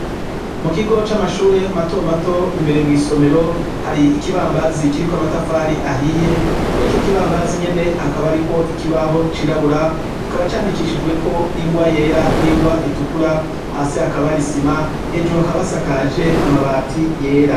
Mu kigo c'amashure matomato imbere mw'isomero hari ikibambazi kiriko amatafari ahiye kuri ico kibambazi nyene hakaba, ariko ikibaho cirabura kikaba candikishijweko ingwa yera n'ingwa itukura hasi hakabari isima hejuru akabasakaje amabati yera.